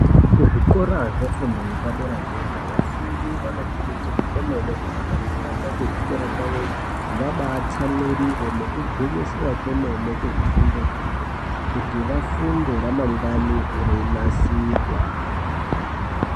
Kuzvikora zvefundo yepaderadera vafundi vanokurudzirwa kwemene kuti kana vaenda kuzvikora kwawoyo vabatsamwirire nekugwinyisira kwemene kuzvifundo zvawo kuti vafunde remangwana reinasirwa .